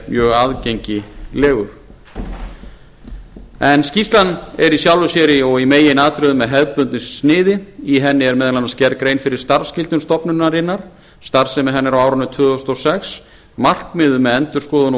mjög aðgengilegur en skýrslan er í sjálfu sér og í meginatriðum með hefðbundnu sniði í henni er meðal annars gerð grein fyrir starfsskyldum stofnunarinnar starfsemi hennar á árinu tvö þúsund og sex markmiðum með endurskoðun